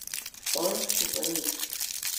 Špansko pa nič.